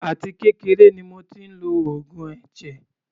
Àti kékeré ni mo tí ń lo oògùn ẹ̀jẹ̀.